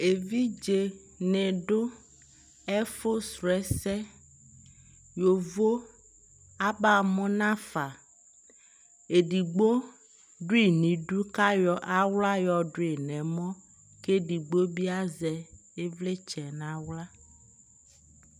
ɛvidzɛ nidʋ ɛƒʋ srɔ ɛsɛ, yɔvɔ aba mʋ naƒa, ɛdigbɔ dʋi nʋ idʋ kʋ ayɔ ala yɔ dʋi nʋ ɛmɔ kʋ ɛdigbɔ bi azɛ ivlitsɛ nʋ ala